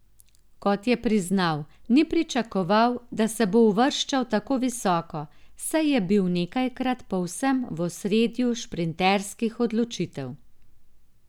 Kot je priznal, ni pričakoval, da se bo uvrščal tako visoko, saj je bil nekajkrat povsem v ospredju šprinterskih odločitev.